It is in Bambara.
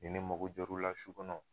Ni ne mago jɔr'u la su kɔnɔ